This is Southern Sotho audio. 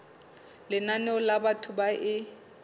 lenane la batho ba e